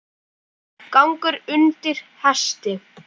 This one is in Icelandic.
Gangur undir hesti.